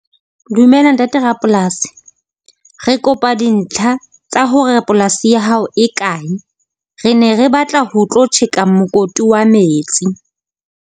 Dumela ntate rapolasi, re kopa dintlha tsa hore polasi ya hao e kae. Re ne re batla ho tlo tjheka mokoti wa metsi.